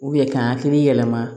ka hakili yɛlɛma